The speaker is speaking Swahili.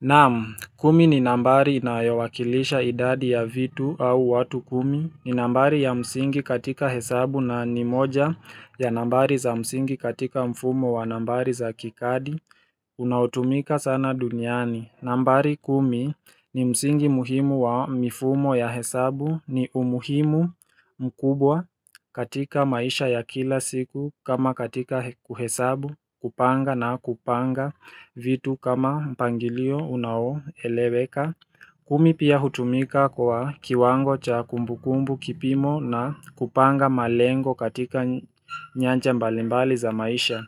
Naam, kumi ni nambari inayowakilisha idadi ya vitu au watu kumi, ni nambari ya msingi katika hesabu na ni moja ya nambari za msingi katika mfumo wa nambari za kikadi, unaotumika sana duniani. Nambari kumi ni msingi muhimu wa mifumo ya hesabu, ni umuhimu mkubwa katika maisha ya kila siku kama katika kuhesabu, kupanga na kupanga vitu kama mpangilio unaoeleweka kumi pia hutumika kwa kiwango cha kumbukumbu, kipimo na kupanga malengo katika nyanja mbalimbali za maisha.